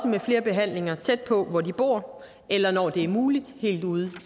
med flere behandlinger tæt på hvor de bor eller når det er muligt helt ude